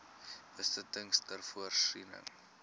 besittings ter voorsiening